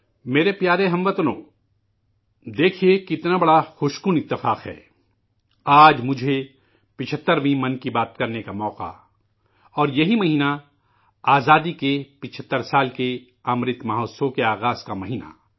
میرے پیارے ہم وطنو، دیکھیے یہ کیسا حسن اتفاق ہے آج مجھے 75ویں 'من کی بات' کا موقع ملا اور یہی مہینہ آزادی کے 75 سال کے 'امرت مہوتسو'کے آغاز کا مہینہ